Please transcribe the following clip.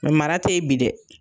Mara te yen bi dɛ